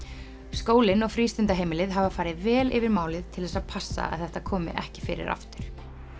skólinn og frístundaheimilið hafa farið vel yfir málið til þess að passa að þetta komi ekki fyrir aftur